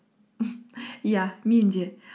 иә мен де